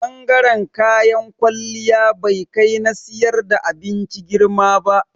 Bangaren kayan kwalliya bai kai na siyar da abinci girma ba.